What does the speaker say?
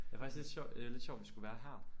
Jeg faktisk lidt sjovt øh lidt sjovt at vi skulle være her